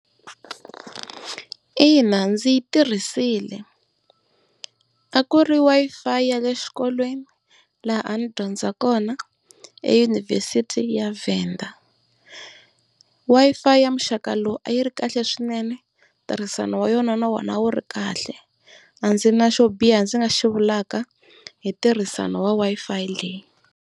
Ina ndzi yi tirhisile, a ku ri Wi-Fi ya le xikolweni laha a ndzi dyondza kona edyunivhesiti ya Venda. Wi-Fi ya muxaka lowu a yi ri kahle swinene ntirhisano wa yona na wona a wu ri kahle a ndzi na xo biha ndzi nga xi vulaka hi ntirhisano wa Wi-Fi leyi.